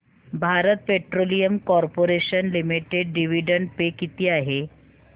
Bharat Petroleum Corporation Limited dividend pay किती आहे